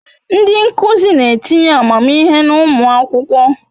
Ndi nkuzi n'etinye amamihe n'umu akwukwo